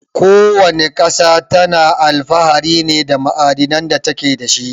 Ko wana ƙasa tana alfahari ne da ma'adanan da take dashi.